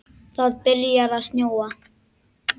Það var byrjað að snjóa.